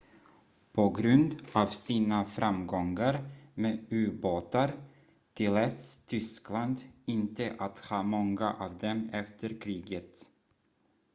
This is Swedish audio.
på grund av sina framgångar med ubåtar tilläts tyskland inte att ha många av dem efter kriget